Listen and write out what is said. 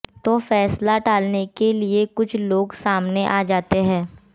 तो फैसला टालने के लिए कुछ लोग सामने आ जाते हैं